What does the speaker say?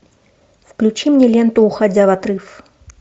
включи мне ленту уходя в отрыв